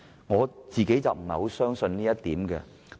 我個人不太相信這點。